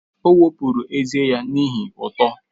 O wepụrụ ezé ya n'ihi ihe uto.